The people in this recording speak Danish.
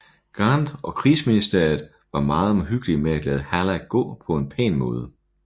Grant og krigsministeriet var meget omhyggelige med at lade Hallack gå på en pæn måde